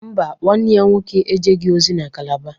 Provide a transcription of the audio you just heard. Mba, nwanne ya nwoke ejeghị ozi na Calabar